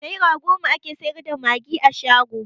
Naira goma ake sayar da magi a shago